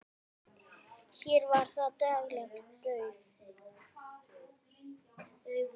Hér var það daglegt brauð.